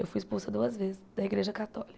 Eu fui expulsa duas vezes da igreja